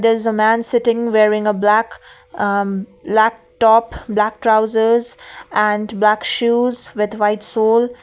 there is a man sitting wearing a black um black top black trousers and black shoes with white sole.